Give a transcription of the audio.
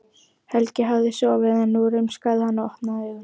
Helgi hafði sofið en nú rumskaði hann og opnaði augun.